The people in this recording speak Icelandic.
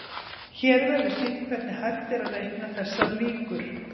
Hér verður sýnt hvernig hægt er að reikna þessar líkur.